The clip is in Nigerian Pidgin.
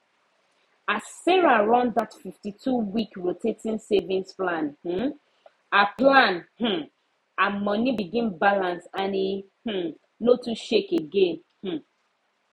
as sarah run that fifty two week rotating savings plan um her plan um her money begin balance and e um no too shake again um